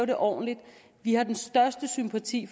det ordentligt vi har den største sympati